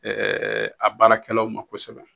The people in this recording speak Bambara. Ɛɛ a baarakɛlaw ma kosɛbɛ